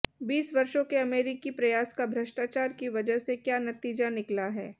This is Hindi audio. बीस वर्षों के अमेरिकी प्रयास का भ्रष्टाचार की वजह से क्या नतीजा निकला है